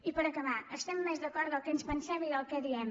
i per acabar estem més d’acord del que ens pensem i del que diem